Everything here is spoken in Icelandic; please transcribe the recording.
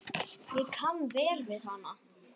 Ég kann vel við hana.